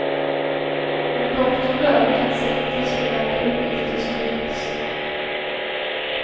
Om doktorn dör kan sekretessbelagda uppgifter spridas.